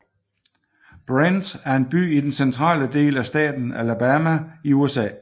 Brent er en by i den centrale del af staten Alabama i USA